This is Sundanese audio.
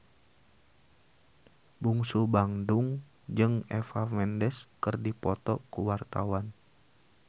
Bungsu Bandung jeung Eva Mendes keur dipoto ku wartawan